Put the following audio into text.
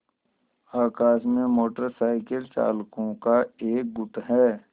आकाश में motorcycle चालकों का एक गुट है